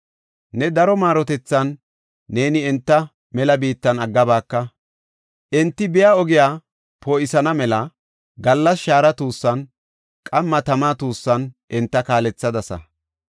Ne daro maarotethan neeni enta mela biittan aggabaaka. Enti biya ogiya poo7isana mela gallas shaara tuussan, qamma tama tuussan enta kaalethadasa.